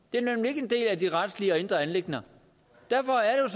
det er nemlig ikke en del af de retlige og indre anliggender derfor er